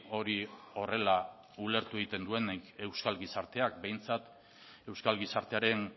hori horrela ulertu egiten duenik euskal gizarteak behintzat euskal gizartearen